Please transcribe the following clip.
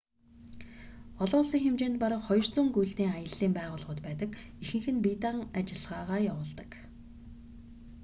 олон улсын хэмжээнд бараг 200 гүйлтийн аяллын байгууллагууд байдаг ихэнх нь бие даан ажиллагаа явуулдаг